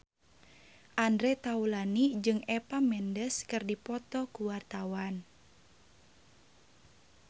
Andre Taulany jeung Eva Mendes keur dipoto ku wartawan